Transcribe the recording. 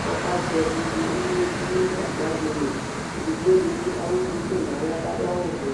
kʋ ɔkatɛ ivi lili yɛ du nʋ gagba dɩ li ; edigbo dɩbɩ eɣu duku nʋ aɣla kʋ adu aɣuvɛ